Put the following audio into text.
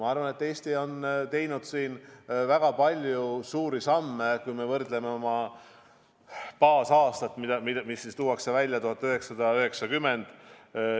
Ma arvan, et Eesti on astunud väga palju suuri samme, kui me võrdleme baasaastaga 1990.